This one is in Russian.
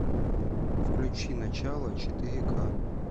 включи начало четыре к